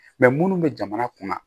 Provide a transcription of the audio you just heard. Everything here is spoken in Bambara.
Mɛ munnu bɛ jamana kunna